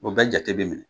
O bɛɛ jate bɛ minɛ